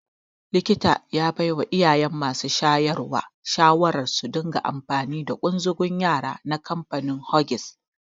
Likita ya baiwa iyayen masu shayarwa shawarar su dinga amfani da ƙunzugun yara na kamfanin Huggies.